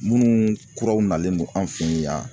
Munnu kuraw nalen no an fe yen yan